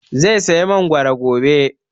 Zai saya mangoro gobe